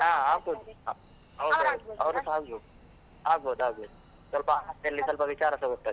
ಹಾ ಆಗಬೋದ್ ಸಹ ಆಗಬೋದ್, ಆಗಬೋದ್ ಆಗಬೋದ್, ಸ್ವಲ್ಪ ಹಾಸ್ಯದಲ್ಲಿ ಸ್ವಲ್ಪ ವಿಚಾರ ಸಹ ಗೊತ್ತಾಗ್ತದೆ.